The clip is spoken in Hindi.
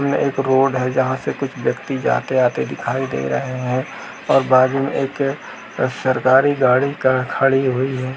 यह एक रोड है जहाँ से कुछ ब्यक्ती जाते - आते दिखाई दे रहे हैं और बाद में एक सरकारी गाड़ी का खड़ी हुई है ।